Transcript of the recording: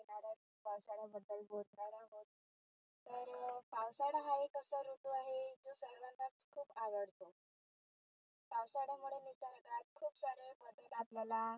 तर आषाढ हा एक असा ऋतू आहे जो सर्वांना खुप आवडतो. आषाढा मुळे खुप सारे आपल्याला